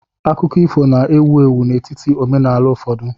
Akụkọ ifo na-ewu ewu n'etiti omenaala ụfọdụ.